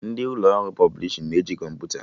Ndị ụlọ ọrụ pọblishin na-eji kọmputa